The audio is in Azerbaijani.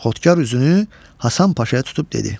Xodkar üzünü Həsən Paşaya tutub dedi.